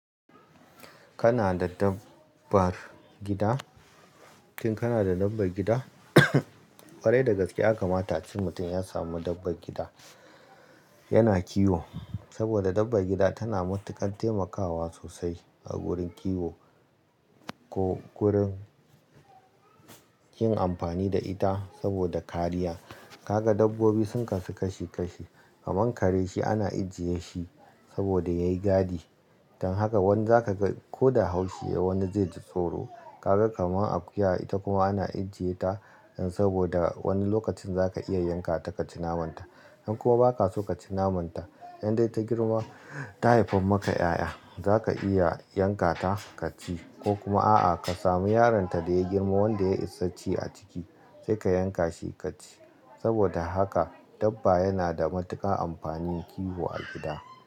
Kana da dabbar gida? Shin kana da dabbar gida? Ƙware da gaske ya kamata a ce mutum ya samu dabbar gida, yana kiwo. Saboda dabban gida tana matuƙan taimakawa sosai a gurin kiwo ko gurin yin amfani da ita saboda kariya. Kaga dabbobi sun kasu kashi kashi, kaman kare shi ana ajiye shi saboda yayi gadi. Dan haka wani zaka ko da haushi ya yi wani zai ji tsoro. Kaga kaman akuya ita kuma ana ajiye ta, dan saboda wani lokacin zaka iya yanka ta kaci naman ta. In kuma ba ka so kaci naman ta, in dai ta girma ta haifa maka 'ya'ya, zaka iya yanka ta ka ci. Ko kuma a'a ka samu yaron ta da ya girma wanda ya yi isa ci a ciki sai ka yanka shi ka ci. Saboda haka dabba yana da matuƙan amfani kiwo a gida.